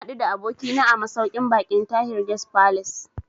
Na haɗu da abokina a masauƙin baƙin Tahir Guest Falace